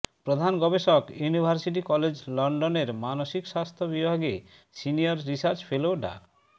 প্রধান গবেষক university college লন্ডনের মানসিক স্বাস্থ্য বিভাগে সিনিয়র রিসার্চ ফেলো ডা